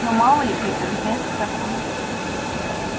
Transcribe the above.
ну мало ли питер место такое